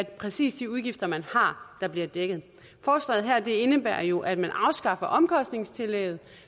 præcis de udgifter man har der bliver dækket forslaget her indebærer jo at man afskaffer omkostningstillægget